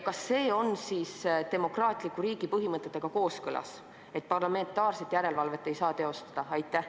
Kas see on demokraatliku riigi põhimõtetega kooskõlas, kui parlamentaarset järelevalvet ei saa teostada?